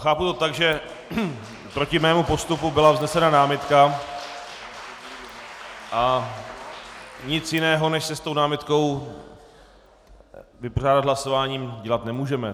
Chápu to tak, že proti mému postupu byla vznesena námitka, a nic jiného, než se s tou námitkou vypořádat hlasováním, dělat nemůžeme.